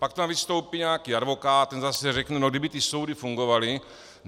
Pak tam vystoupí nějaký advokát, ten zase řekne: no kdyby ty soudy fungovaly...